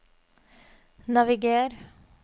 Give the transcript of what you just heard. naviger